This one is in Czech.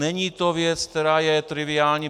Není to věc, která je triviální.